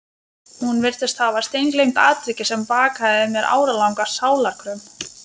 Hún virtist hafa steingleymt atviki sem bakaði mér áralanga sálarkröm.